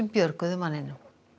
björguðu manninum